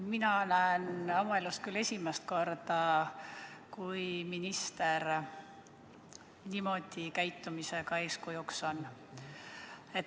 Mina näen oma elus küll esimest korda, kui minister niimoodi käitumisega eeskujuks on.